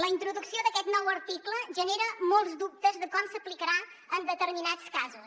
la introducció d’aquest nou article genera molts dubtes de com s’aplicarà en determinats casos